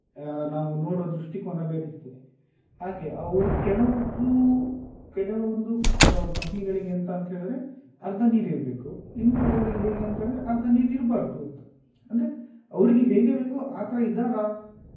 ನಾವು ನೋಡುವ ದೃಷ್ಟಿಕೋನ ಬೇರೆ ಇರ್ತದೆ ಹಾಗೆ ಅವ್ರ್ ಕೆಲವೊಬ್ರು ಕೆಲವೊಂದು company ಗಳಿಗೆ ಎಂತ ಅಂತ ಹೇಳಿದ್ರೆ ಅರ್ಧ ನೀರು ಇರ್ಬೇಕು ಇನ್ನು ಕೆಲವರಿಗೆ ಹೇಗೆ ಅಂತ ಹೇಳಿದ್ರೆ ಅರ್ಧ ನೀರು ಇರ್ಬಾರ್ದು ಅಂತ ಅಂದ್ರೆ ಅವ್ರಿಗೆ ಹೇಗೆ ಬೇಕು ಆ ತರ ಇದ್ದಾರಾ,